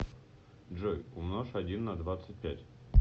джой умножь один на двадцать пять